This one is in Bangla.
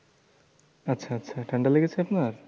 আচ্ছা আচ্ছা আচ্ছা ঠান্ডা লেগেছে আপনার?